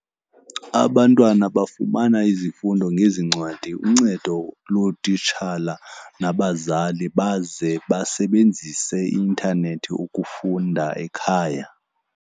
Abantwana bafumana izifundo ngezi ncwadi, uncedo lootitshala nabazali, baze basebenzise i-intanethi ukufunda ekhaya.